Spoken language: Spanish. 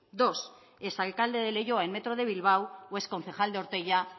dos exalcalde de leioa en metro de bilbao o exconcejal de ortuella